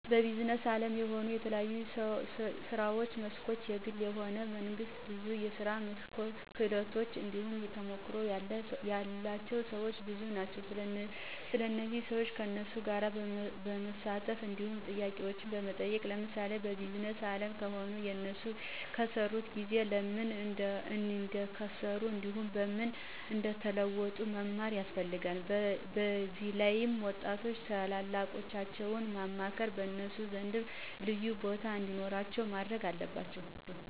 በቢዝነስ አለምም ሆነ በተለያየ የስራ መስኮች የግልም ሆነ የመንግስት ብዙ የስራ ክህሎት እንዲሁም ተሞክሮ ያላቸው ሰወች ብዙ ናቸው ስለዚህ ሰዋች ከነሱ ጋር በማሳለፍ እንዲሁም ጥያቄዎችን በመጠየቅ ለምሳሌ በቢዝነስ አለም ከሆነ የነሱን የከሰሩበትን ጊዜ፣ ለምን እንደከሰሩ እንዲሁም በምን እንደተወጡት መማር ያስፈለልጋል። በዚላይም ወጣቶች ታላላቆቻቸውን በማክበር በነሱ ዘንድ ልዩቦታ እንዲኖራቸው ማድረግ አለባቸው።